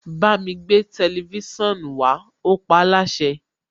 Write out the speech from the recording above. Bámi gbé tẹlifísàn wá, ó paáláṣẹ.